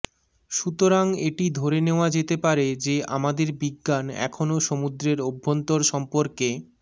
সুতরাং এটি ধরে নেওয়া যেতে পারে যে আমাদের বিজ্ঞান এখনও সমুদ্রের অভ্যন্তর সম্পর্কে